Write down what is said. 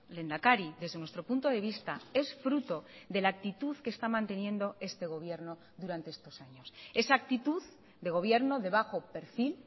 lehendakari desde nuestro punto de vista es fruto de la actitud que está manteniendo este gobierno durante estos años esa actitud de gobierno de bajo perfil